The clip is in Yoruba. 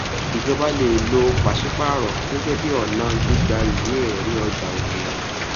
ìjọba le è lo pàṣípààrọ gẹgẹ bí ọnà gbígba ìwé ẹrí ọjà òkèèrè